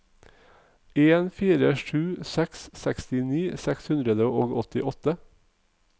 en fire sju seks sekstini seks hundre og åttiåtte